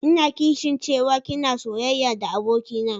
Ina kishin cewa ki na soyayya da abokina.